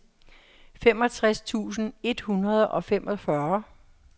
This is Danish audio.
femogtres tusind et hundrede og femogfyrre